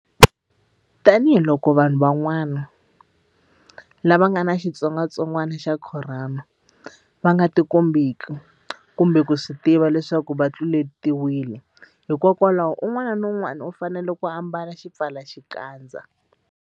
Tanihiloko vanhu van'wa-na lava nga ni xitsongwantsongwana xa Khorona va nga tikombeki kumbe ku swi tiva leswaku va tluletiwile, hikwalaho un'wana na un'wana u fanele ku ambala xipfalaxikandza.